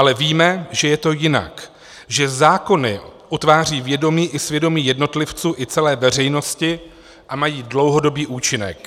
Ale víme, že je to jinak, že zákony utvářejí vědomí i svědomí jednotlivců i celé veřejnosti a mají dlouhodobý účinek.